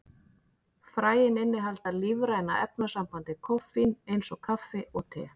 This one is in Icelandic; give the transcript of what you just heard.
Fræin innihalda lífræna efnasambandið koffín, eins og kaffi og te.